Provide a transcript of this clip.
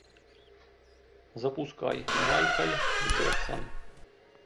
запускай майкл джексон